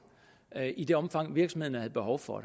i det omfang virksomhederne havde behov for